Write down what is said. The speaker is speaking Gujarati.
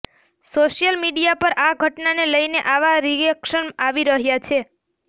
સોશિયલ મીડિયા પર આ ઘટનાને લઈને આવા રિએક્શન આવી રહ્યા છે